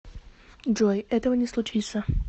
джой этого не случится